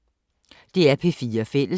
DR P4 Fælles